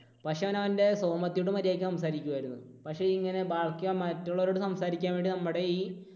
പക്ഷേ അവൻ അവൻറെ സോമത്തിയോട് മര്യാദയ്ക്ക് സംസാരിക്കുമായിരുന്നു. പക്ഷേ ഇങ്ങനെ ബാക്കി മറ്റുള്ളവരോട് സംസാരിക്കാൻ വേണ്ടി നമ്മുടെ ഈ